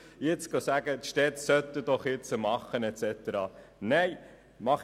jetzt aber die Städte zum Handeln aufzufordern, halte ich für unangebracht.